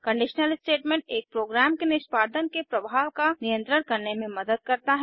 conditional statement एक program के निष्पादन के प्रवाह का नियंत्रण करने में मदद करता है